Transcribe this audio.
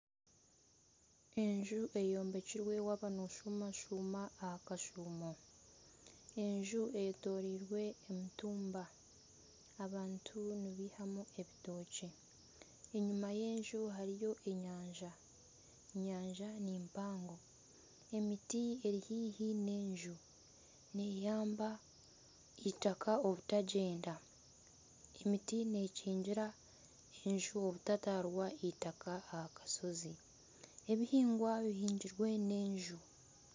Enju eyombekirwe waaba nashumashuma aha kashumo, enju eyetorirwe emitumba abantu nibaihamu ebitookye, enyima y'enju hariyo enyanja. Enyanja ni mpango, emiti eri haihi n'enju neyamba itaaka obutagyenda, emiti nekigira enju obutatwarwa itaaka aha kashozi ebihingwa bihingirwe haihi n'enju.